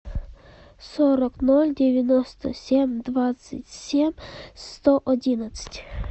сорок ноль девяносто семь двадцать семь сто одиннадцать